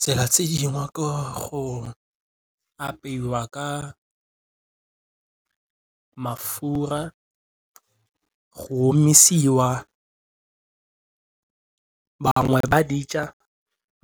Tsela tse dingwe go apeiwa ka mafura go omisiwa bangwe ba di ja